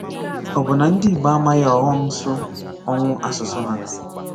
Ọ bụ na ndị Igbo amaghị ọghọm so ọnwụ asụsụ ha?